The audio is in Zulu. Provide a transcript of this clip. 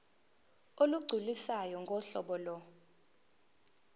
olugculisayo ngohlobo lo